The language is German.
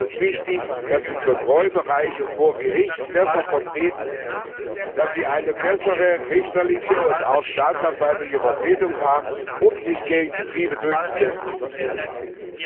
Hier ist wichtig, dass die Kontrollbereiche vor Gericht besser vertreten werden, dass sie eine bessere richterliche und auch staatsanwaltliche Vertretung haben, um sich gegen Betriebe durchzusetzen, die betrogen haben.